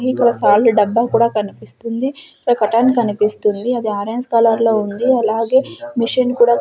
ఇక్కడ సాల్ట్ డబ్బా కూడా కనిపిస్తుంది ఈడ కర్టెన్ కనిపిస్తుంది అది ఆరెంజ్ కలర్ లో ఉంది అలాగే మెషీన్ కూడా.